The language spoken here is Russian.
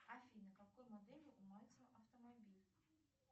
афина какой модели у мальцева автомобиль